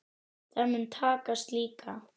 Það mun takast líka.